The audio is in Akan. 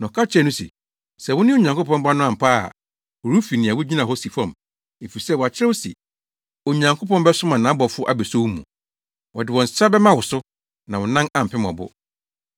na ɔka kyerɛɛ no se, “Sɛ wone Onyankopɔn Ba no ampa ara a, huruw fi nea wugyina hɔ si fam, efisɛ, wɔakyerɛw se, “ ‘Onyankopɔn bɛsoma nʼabɔfo abeso wo mu, wɔde wɔn nsa bɛma wo so, na wo nan ampem ɔbo.’ ”